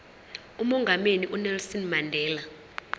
umongameli unelson mandela